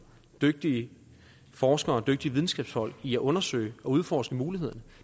dygtige forskere og dygtige videnskabsfolk i at undersøge og udforske mulighederne